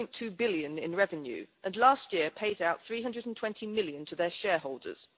1.2 billion in revenue and last year paid out GBP 320 million to their shareholders.